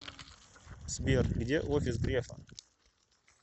сбер где офис грефа